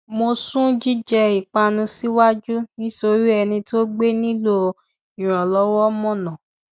mo sún jíjẹ ìpanu síwájú nítorí ẹni tó gbé nílò ìrànlọwọ mọ ọnà